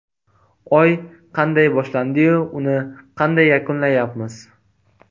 Oy qanday boshlandi-yu, uni qanday yakunlayapmiz?